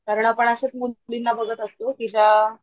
कारण आपण अश्याच मुलींना बघत असतो कि ज्या,